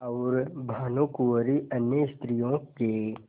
और भानुकुँवरि अन्य स्त्रियों के